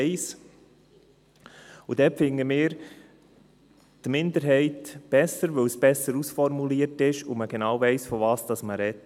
1. Dort finden wir die Minderheit besser, weil es besser ausformuliert ist und man genau weiss, wovon man spricht.